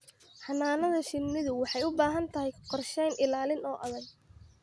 Xannaanada shinnidu waxay u baahan tahay qorshooyin ilaalin oo adag.